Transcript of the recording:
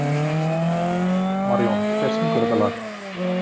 Marjón, hver syngur þetta lag?